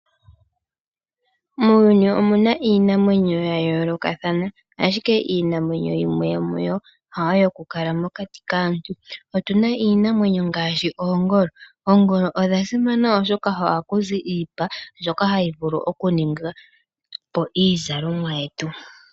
Muuyuni omuna iinamwenyo ya yoolokathana, ashike yimwe yomiinamwenyo hayo yoku kala mokati kaantu. Otuna iinamwenyo ngaashi oongolo, oongolo odha simana oshoka ohaku zi iipa mbyoka hayi vulu oku ninga po iizalomwa yetu.